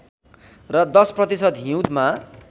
र १० प्रतिशत हिउँदमा